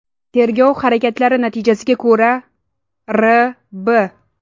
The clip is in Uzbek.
Tergov harakatlari natijasiga ko‘ra, R.B.